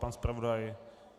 Pan zpravodaj?